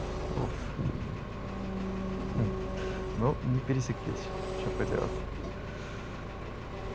уфф ну не пересеклись что поделать